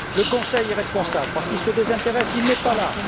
Le Conseil est responsable parce qu'il se désintéresse il n'est pas là.